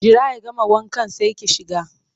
Jira ya gama wankan sai ki shiga!